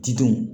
Didenw